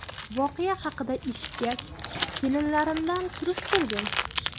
– Voqea haqida eshitgach, kelinlarimdan surishtirdim.